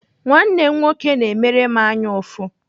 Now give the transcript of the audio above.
Nwanne m nwoke na-emere m anyaụfụ.